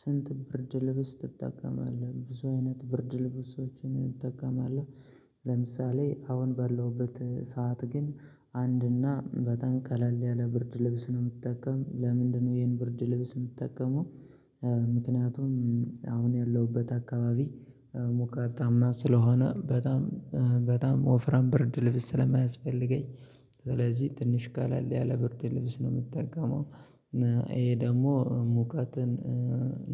ስንት ብርድ ልብስ ትጠቀማለህ? ብዙ አይነት ብርድ ልብሶችን እንጠቀማለሁ ለምሳሌ አሁን ባለሁበት ሰዓት ግን አንድና በጣም ቀለል ያለ ብርድ ልብስ ነው የምጠቀም ለምንድነው ይሄን ብርድ ልብስ የምጠቀመው ምክንያቱም አሁን ያለሁበት አካባቢ ሞቃታማ ስለሆነ በጣም በጣም ወፍራም ብርድ ልብስ ስለማያስፈልገኝ ስለዚህ ትንሽ ቀለል ያለ ብርድ ልብስ ነው የምትጠቀመው ይሄ ደግሞ ሙቀትን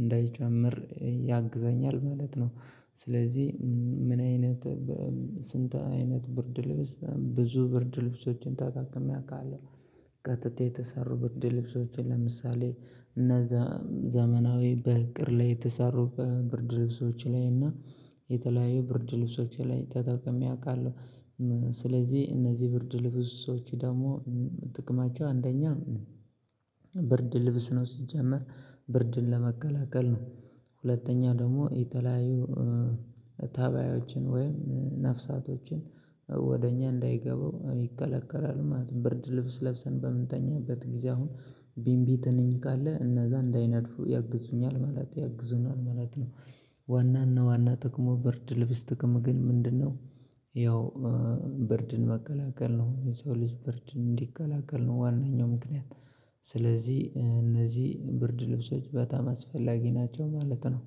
እንዳይጨምር ያግዛኛል ማለት ነው ስለዚህ ምን አይነት ስንት አይነት ብርድ ልብስ? ብዙ ብርድ ልብሶችን ተጠቅሜ አቃለው። ከጥጥ የተሰሩ ብርድ ልብሶችን ለምሳሌ እነዛ ዘመናዊ በእቅድ ላይ የተሰሩ ብርድ ልብሶች ላይ እና የተለያዩ ብርድ ልብሶች ላይ ተጠቅሜ አውቃለሁ። ስለዚህ እነዚህ ብርድ ልብሶች ደግሞ ጥቅማቸው አንደኛ ብርድ ልብስ ነው ሲጀመር ብርድን ለመገላገል ነው፣ ሁለተኛ ደግሞ የተለያዩ ተባዮችን ወይም ነፍሳቶችን ወደ እኛ እንዳይገቡ ይከላከላል ማለት ነው። ብርድ ልብስ ለብሰን በምንተኛበት ጊዜ አሁን ቢንቢ ተነኝ ካለ እነዛ እንዳይነድፉ ያግዙኛል ማለት ያግዙናል ማለት ነው። ዋናና ዋና ጥቅሙ ብርድ ልብስ ጥቅሙ ግን ምንድን ነው ያው ብርድን መከላከል ነው የሰው ልጅ ብርድ እንዲከላከል ነው ዋነኛው ምክንያት። ስለዚህ እነዚህ ብርድ ልብሶች በጣም አስፈላጊ ናቸው ማለት ነው።